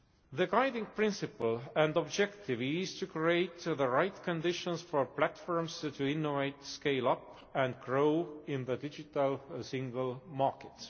The guiding principle and objective is to create the right conditions for platforms to innovate, scale up and grow in the Digital Single Market.